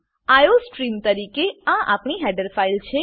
iostream તરીકે આ આપણી હેડર ફાઈલ છે